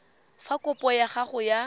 fa kopo ya gago ya